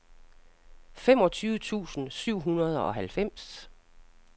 femogtyve tusind syv hundrede og halvfems